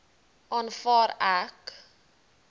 aanvaar ek